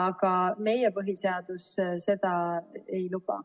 Aga meie põhiseadus seda ei luba.